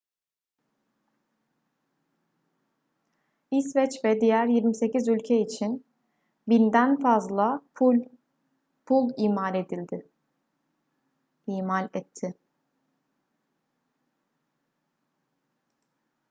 i̇sveç ve diğer 28 ülke için 1.000'den fazla pul imal etti